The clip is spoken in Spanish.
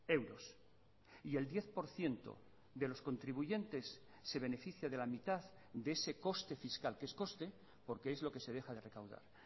euros y el diez por ciento de los contribuyentes se beneficia de la mitad de ese coste fiscal que es coste porque es lo que se deja de recaudar